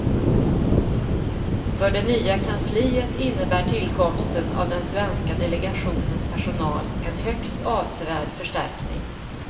För det nya kansliet innebär tillkomsten av den svenska delegationens personal en högst avsevärd förstärkning.